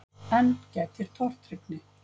Enn gætir tortryggni.